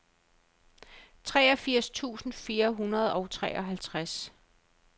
treogfirs tusind fire hundrede og treoghalvtreds